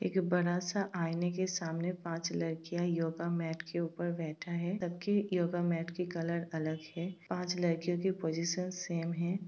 एक बड़ा सा आईने के सामने पांच लड़कियाँ योगा मेट के ऊपर बैठा है। सब की योगा मेट की कलर अलग है। पांच लड़कियों की पोजीशन सेम है।